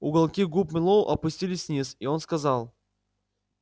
уголки губ мэллоу опустились вниз и он сказал